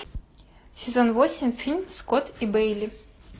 сезон восемь фильм скотт и бейли